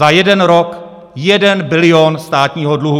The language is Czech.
Za jeden rok 1 bilion státního dluhu.